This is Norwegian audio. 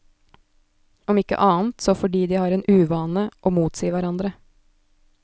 Om ikke annet, så fordi de har den uvane å motsi hverandre.